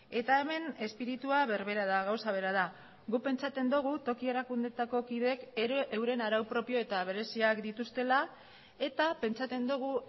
eta hemen espiritua berbera da gauza bera da guk pentsatzen dugu toki erakundeetako kideek euren arau propio eta bereziak dituztela eta pentsatzen dugu